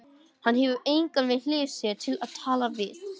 Hann hefur engan við hlið sér til að tala við.